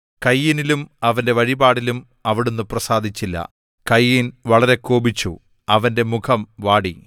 കയീനിലും അവന്റെ വഴിപാടിലും അവിടുന്ന് പ്രസാദിച്ചില്ല കയീൻ വളരെ കോപിച്ചു അവന്റെ മുഖം വാടി